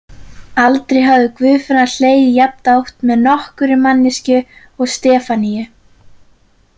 Aldrei hafði Guðfinna hlegið jafndátt með nokkurri manneskju og Stefaníu.